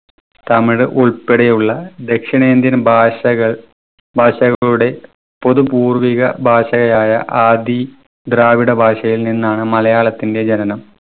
തമിഴ് ഉൾപ്പെടെയുള്ള ദക്ഷിണേന്ത്യൻ ഭാഷകൾ ഭാഷകളൂടെ പൊതുപൂർവിക ഭാഷയായ ആദി ദ്രാവിഡ ഭാഷയിൽ നിന്നാണ് മലയാളത്തിന്റെ ജനനം.